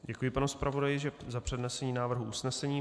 Děkuji panu zpravodaji za přednesení návrhu usnesení.